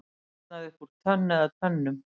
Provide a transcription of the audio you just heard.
Brotnaði upp úr tönn eða tönnum